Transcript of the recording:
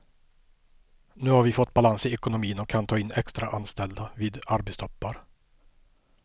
Nu har vi fått balans i ekonomin och kan ta in extraanställda vid arbetstoppar.